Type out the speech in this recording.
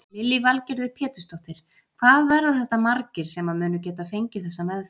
Lillý Valgerður Pétursdóttir: Hvað verða þetta margir sem að munu geta fengið þessa meðferð?